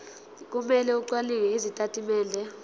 kumele acwaninge izitatimende